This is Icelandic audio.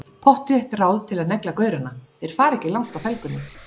Pottþétt ráð til að negla gaurana, þeir fara ekki langt á felgunni!